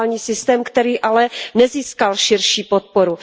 duální systém, který ale nezískal širší podporu.